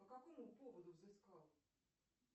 по какому поводу взыскал